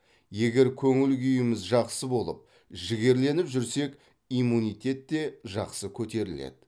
егер көңіл күйіміз жақсы болып жігерленіп жүрсек иммунитет те жақсы көтеріледі